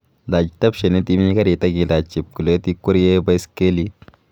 Lach tapshenit imi karit ak ilach chepkulet ikuerie baiskelit